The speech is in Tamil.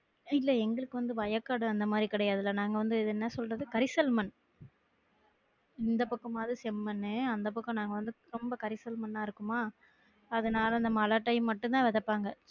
இல்ல எங்களுக்கு வந்து வயக்காடுஅந்த மாதிரி கிடையாதுலா நாங்க வந்து என்ன சொல்றது கரிசல் மண் இந்த பக்கம் மாவது செம்மண்னு அந்த பக்கம் நாங்க வந்து ரெம்ப கரிசல் மண்ணா இருக்குமா அதுனால அந்த மழை time மட்டும்தான் விதப்பாங்க